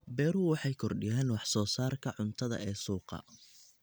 Beeruhu waxay kordhiyaan wax soo saarka cuntada ee suuqa.